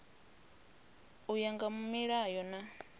u ya nga milayo na